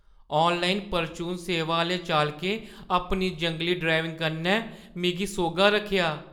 Online परचून सेवा आह्‌ले चालकें अपनी जंगली ड्राइविंग कन्नै मिगी सोह्‌ग्गा रक्खेआ ।